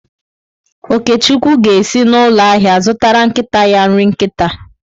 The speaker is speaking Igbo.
Okechukwu ga-esi n’ụlọ ahịa zụtara nkịta ya nri nkịta.